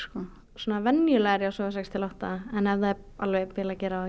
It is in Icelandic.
svona venjulega er ég að sofa sex til átta en ef það er bilað að gera